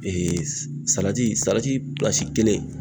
Ee salati salati pilasi kelen